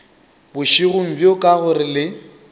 bošego bjo ka gore le